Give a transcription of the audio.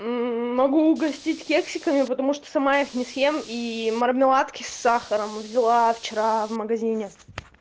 могу угостить кексиками потому что сама их не съем и мармеладки с сахаром взяла вчера в магазине